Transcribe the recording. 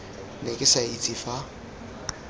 ne ke sa itse fa